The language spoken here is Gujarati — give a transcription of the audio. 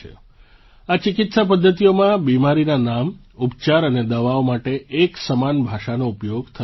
આ ચિકિત્સા પદ્ધતિઓમાં બીમારીનાં નામ ઉપચાર અને દવાઓ માટે એક સમાન ભાષાનો ઉપયોગ થતો નથી